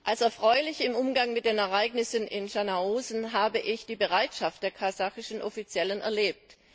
Als erfreulich im Umgang mit den Ereignissen in Schanaosen habe ich die Bereitschaft der kasachischen Behörden erlebt.